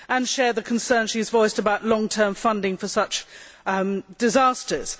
I share the concerns she has voiced about long term funding for such disasters.